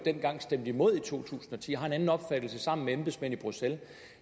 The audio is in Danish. stemte imod dengang i to tusind og ti har en anden opfattelse sammen med embedsmænd i bruxelles